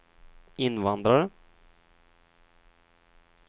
invandrare